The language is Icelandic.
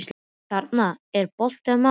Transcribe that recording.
Kjaran, er bolti á mánudaginn?